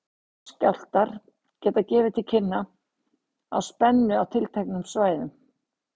Smáskjálftar geta gefið til kynna breytingar á spennu á tilteknum svæðum.